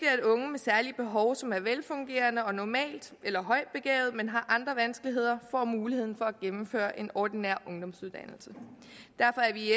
at unge med særlige behov som er velfungerende og normalt eller højt begavede men har andre vanskeligheder får muligheden for at gennemføre en ordinær ungdomsuddannelse derfor er vi